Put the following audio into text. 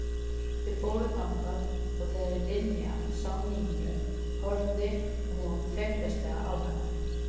Þau fóru þangað og þegar Linja sá Nínu horfði hún feimnislega á hana.